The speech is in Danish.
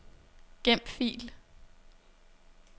Gem fil.